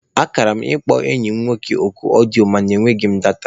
Akara m ịkpọ enyi m nwoke oku ọdịyo mana e nweghị m data